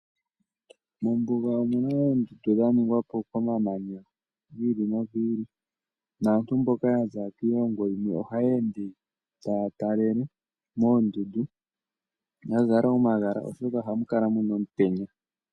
Mombuga omuna oondundu dha ningwapo komamanya gi ili nogi ili. Naantu mboka yaza kiilongo yimwe ohaya ende taya talele moondundu ya zala omagala oshoka ohamu kala muna omutenya.